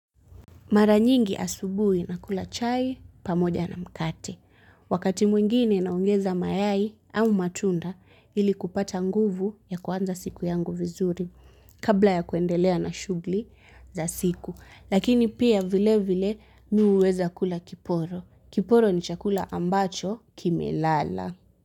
Mara nyingi asubuhi nakula chai pamoja na mkate. Wakati mwingine naongeza mayai au matunda ili kupata nguvu ya kuanza siku yangu vizuri kabla ya kuendelea na shughuli za siku. Lakini pia vile vile mimi huweza kula kiporo. Kiporo ni chakula ambacho kimelala.